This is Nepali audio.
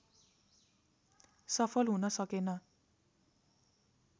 सफल हुन सकेन